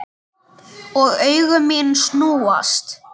Og augu mín snúast.